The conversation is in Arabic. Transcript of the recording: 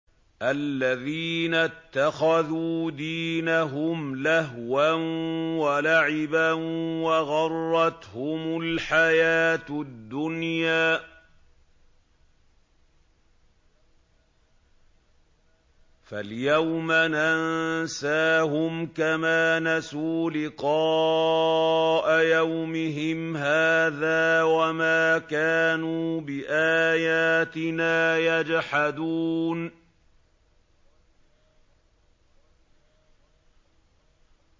الَّذِينَ اتَّخَذُوا دِينَهُمْ لَهْوًا وَلَعِبًا وَغَرَّتْهُمُ الْحَيَاةُ الدُّنْيَا ۚ فَالْيَوْمَ نَنسَاهُمْ كَمَا نَسُوا لِقَاءَ يَوْمِهِمْ هَٰذَا وَمَا كَانُوا بِآيَاتِنَا يَجْحَدُونَ